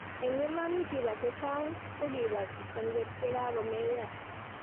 eng' iman kiba che chang' ko kiba kipsengwet ya kakumeyo